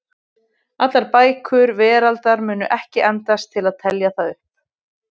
Allar bækur veraldar mundu ekki endast til að telja það upp.